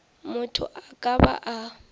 motho a ka ba a